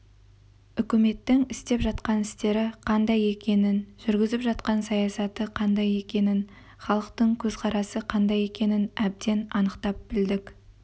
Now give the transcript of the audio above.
үкіметтің істеп жатқан істері қандай екенін жүргізіп жатқан саясаты қандай екенін халықтың көзқарасы қандай екенін әбден анықтап білдік